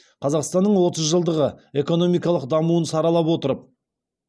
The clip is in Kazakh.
қазақстанның отыз жылдағы экономикалық дамуын саралап отырып